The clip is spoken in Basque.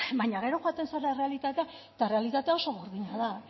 baina gero joaten zara errealitatera eta errealitatea oso gordina da